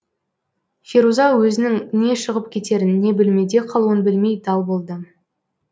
феруза өзінің не шығып кетерін не бөлмеде қалуын білмей дал болды